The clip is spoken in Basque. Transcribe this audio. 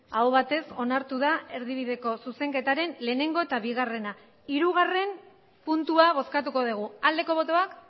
aho batez onartu da erdibideko zuzenketaren bat eta bigarrena puntua hirugarrena puntua bozkatuko dugu aldeko botoak